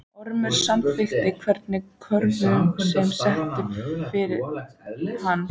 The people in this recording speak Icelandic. Ormur samþykkir hverja kröfu sem sett er fyrir hann.